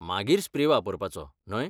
मागीर स्प्रे वापरपाचो, न्हय?